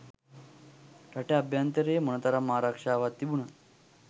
රට අභ්‍යන්තරයෙ මොනතරම් ආරක්ෂාවක් තිබුනත්